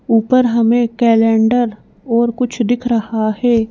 ऊपर हमें कैलेंडर और कुछ दिख रहा है।